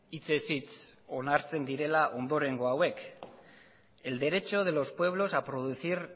hitzez hitz onartzen direla ondorengo hauek el derecho de los pueblos a producir